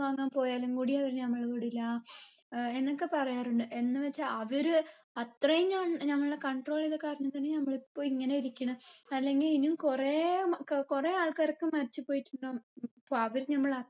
വാങ്ങാൻ പോയാലും കൂടി അവര് നമ്മളെ വിടില്ല ഏർ എന്നൊക്കെ പറയാറുണ്ട് എന്ന് വച്ച് അവര് അത്രേം ഞ ഞങ്ങളെ control എയ്ത കാരണത്തിനി നമ്മള് ഇപ്പൊ ഇങ്ങനെ ഇരിക്കിണെ അല്ലെങ്കി ഇനിയും കുറേ മ ഏർ കുറേ ആൾക്കാരൊക്കെ മരിച്ച് പോയിട്ടുണ്ടാവും അപ്പൊ അവര് നമ്മളെ